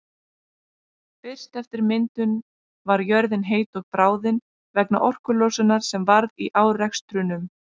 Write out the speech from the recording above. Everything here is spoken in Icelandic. Fyrst eftir myndun var jörðin heit og bráðin vegna orkulosunar sem varð í árekstrunum.